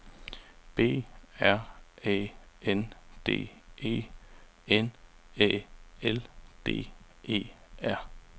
B R Æ N D E N Æ L D E R